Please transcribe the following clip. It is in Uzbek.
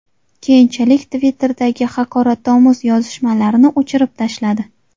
Keyinchalik Twitter’dagi haqoratomuz yozishmalarini o‘chirib tashladi.